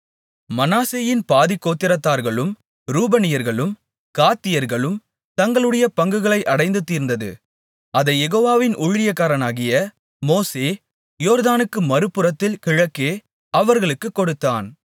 மனாசேயின் பாதிக்கோத்திரத்தார்களும் ரூபனியர்களும் காத்தியர்களும் தங்களுடைய பங்குகளை அடைந்து தீர்ந்தது அதைக் யெகோவாவின் ஊழியக்காரனாகிய மோசே யோர்தானுக்கு மறுபுறத்தில் கிழக்கே அவர்களுக்குக் கொடுத்தான்